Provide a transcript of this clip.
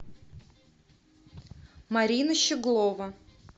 марина щеглова